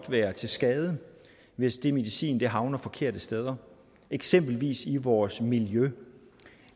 være til skade hvis den medicin havner forkerte steder eksempelvis i vores miljø